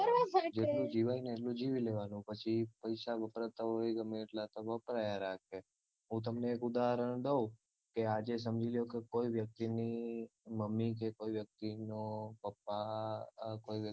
જેટલું જીવાયને એટલું જીવી લેવાનું પછી પૈસા વપરાતો હોય ગમે તેટલાં તો વપરાયા રાખે હું તમને એક ઉદાહરણ દઉં કે આજે સમજી લ્યો કે કોઈ વ્યક્તિની મમ્મી કે કોઈ વ્યક્તિના પપ્પા કોઈ